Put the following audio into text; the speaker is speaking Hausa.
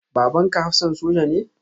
Babanka hafsan soja ne?